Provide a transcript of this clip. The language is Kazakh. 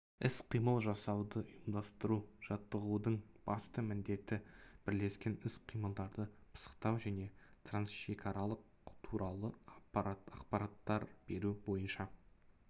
іс-қимыл жасауды ұйымдастыру жаттығудың басты міндеті бірлескен іс-қимылдарды пысықтау және трансшекаралық туралы ақпарат беру бойынша